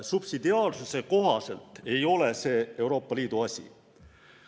Subsidiaarsuse kohaselt ei ole see Euroopa Liidu asi.